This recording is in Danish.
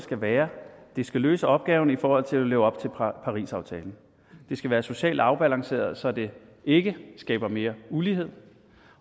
skal være at den skal løse opgaven i forhold til at leve op til parisaftalen den skal være socialt afbalanceret så det ikke skaber mere ulighed